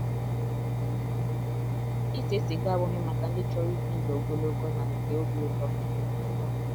ISE siga abụghị maka ndị chọrọ ịbị ndụ ogologo na nke obi ụtọ. ụtọ.